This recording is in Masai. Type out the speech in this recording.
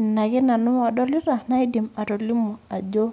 anake nanu adolita aidim atolimu ajo